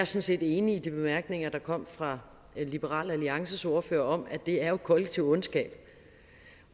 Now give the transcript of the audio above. set enig i de bemærkninger der kom fra liberal alliances ordfører om at det er kollektiv ondskab